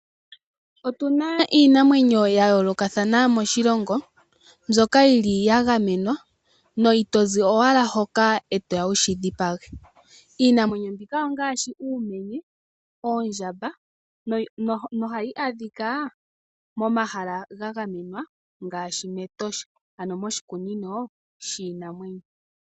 Otu na iinamwenyo ya yoolokathana moshilongo mbyoka yi li ya gamenwa no ito zi owala hoka e to ya wu shi dhipage. Iinamwenyo mbika ongaashi uumenye, oondjamba nohayi adhika momahala ga gamenwa ngaashi mEtosha, ano moshikunino shiinamwenyo.